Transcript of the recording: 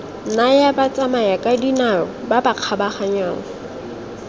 naya batsamayakadinao ba ba kgabaganyang